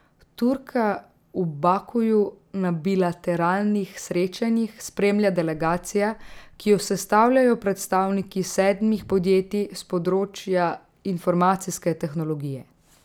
Turka v Bakuju na bilateralnih srečanjih spremlja delegacija, ki jo sestavljajo predstavniki sedmih podjetij s področja informacijske tehnologije.